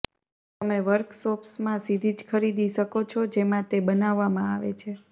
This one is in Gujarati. તમે વર્કશોપ્સમાં સીધી જ ખરીદી શકો છો જેમાં તે બનાવવામાં આવે છે